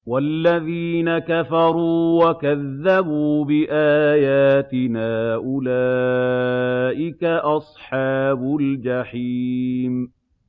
وَالَّذِينَ كَفَرُوا وَكَذَّبُوا بِآيَاتِنَا أُولَٰئِكَ أَصْحَابُ الْجَحِيمِ